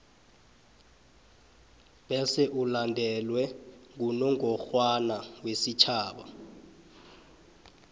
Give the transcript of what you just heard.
bese ulandelwe ngunongorwana wesitjhaba